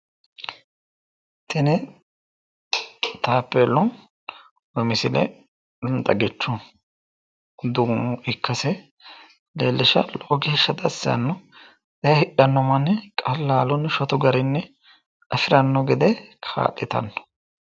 Tini taappeellu misile xagichu duuno ikkase leellishshanno. Lowo geeshsha dassi yaanno. E"e hidhanno manni qallalunni shotu garinni afiranno gede kaa'litanno.